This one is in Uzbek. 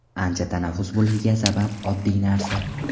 Ancha tanaffus bo‘lishiga sabab oddiy narsa.